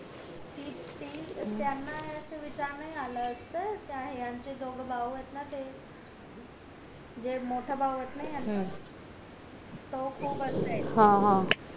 ती ती त्याना असा विचार नई आला यांचे दोघं भाऊ येत ना ते जे मोठा भाऊ येत ना याना तो खूप